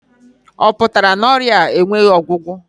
Ọ pụtara na ọrịa a enweghị ọgwụgwọ?